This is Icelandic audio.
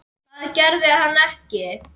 Það gerði hann ekki.